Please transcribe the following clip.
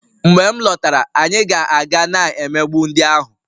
Mgbe m lọtara, anyị ga-aga na-emegbu ndị ahụ